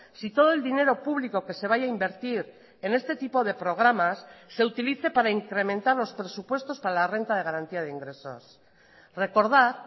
si todo el dinero público que se vaya a invertir en este tipo de programas se utilice para incrementar los presupuestos para la renta de garantía de ingresos recordar